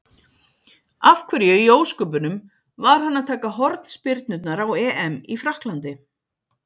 Af hverju í ósköpunum var hann að taka hornspyrnurnar á EM í Frakklandi?